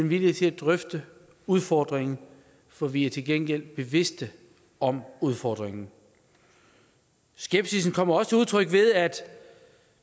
viljen til at drøfte udfordringen for vi er til gengæld bevidste om udfordringen skepsisen kommer også til udtryk ved at